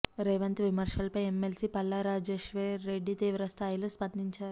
రేవంత్ విమర్శలపై ఎమ్మెల్సీ పల్లా రాజేశ్వర్ రెడ్డి తీవ్ర స్థాయిలో స్పందించారు